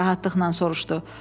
Emil narahatlıqla soruşdu.